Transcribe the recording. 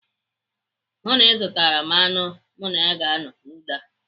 Hụụ na ị zụtara m anụ mụ na ya ga-anọ n'ụlọ a!